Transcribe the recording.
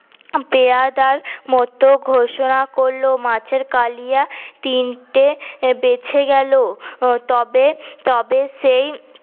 পেয়েদার মতো ঘোষণা করল মাছের কালিয়া তিনটে বেঁচে গেলো হম তবে তবে সেই